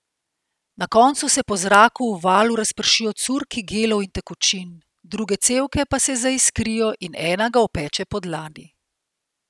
Na koncu se po zraku v valu razpršijo curki gelov in tekočin, druge cevke pa se zaiskrijo in ena ga opeče po dlani.